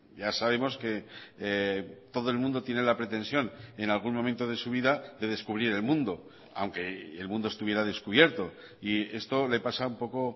ya sabemos que todo el mundo tiene la pretensión en algún momento de su vida de descubrir el mundo aunque el mundo estuviera descubierto y esto le pasa un poco